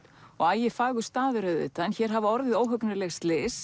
og staður auðvitað en hér hafa orðið óhugnanleg slys